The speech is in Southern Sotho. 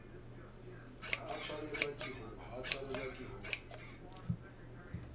ha a tshwanelwa ke ho